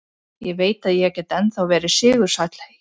Ég veit að ég get ennþá verið sigursæll hérna.